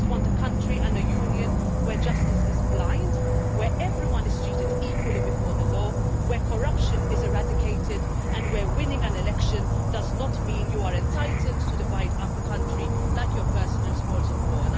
They just want a country and a Union where justice is blind, where everyone is treated equally before the law, where corruption is eradicated and where winning an election does not mean you are entitled to divide up the country like your personal spoils of war.